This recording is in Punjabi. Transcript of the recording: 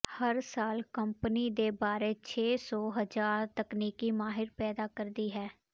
ਹਰ ਸਾਲ ਕੰਪਨੀ ਦੇ ਬਾਰੇ ਛੇ ਸੌ ਹਜ਼ਾਰ ਤਕਨੀਕੀ ਮਾਹਿਰ ਪੈਦਾ ਕਰਦੀ ਹੈ